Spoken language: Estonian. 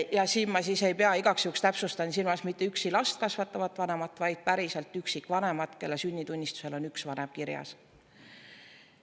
Ja siin ma ei pea, igaks juhuks täpsustan, silmas mitte üksi last kasvatavat vanemat, vaid päriselt üksikvanemat, kelle lapse sünnitunnistusel on üks vanem kirjas.